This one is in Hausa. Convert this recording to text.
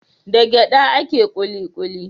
Da gyaɗa ake kuli kuli.